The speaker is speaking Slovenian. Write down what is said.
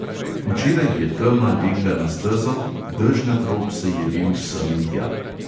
Včeraj je tema legla na stezo, dežnat rob se je vil semintja.